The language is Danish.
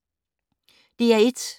DR1